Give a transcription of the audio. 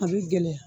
A bɛ gɛlɛya